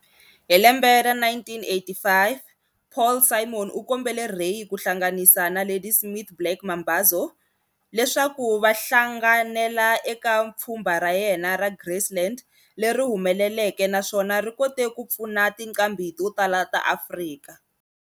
Hi lembe ra 1985, Paul Simon u kombele Ray ku hlanganisa na Ladysmith Black Mambazo leswaku va hlanganela eka pfumba ra yena ra Graceland, leri humeleleke naswona ri kote ku pfuna tinqambi to tala ta Afrika.